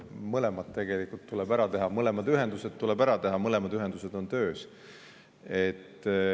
Mõlemad ühendused tuleb tegelikult ära teha ja need mõlemad on töös.